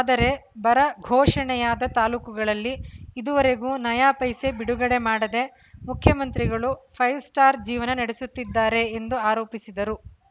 ಆದರೆ ಬರ ಘೋಷಣೆಯಾದ ತಾಲೂಕುಗಳಲ್ಲಿ ಇದುವರೆಗೂ ನಯಾ ಪೈಸೆ ಬಿಡುಗಡೆ ಮಾಡದೆ ಮುಖ್ಯಮಂತ್ರಿಗಳು ಫೈವ್‌ ಸ್ಟಾರ್‌ ಜೀವನ ನಡೆಸುತ್ತಿದ್ದಾರೆ ಎಂದು ಆರೋಪಿಸಿದರು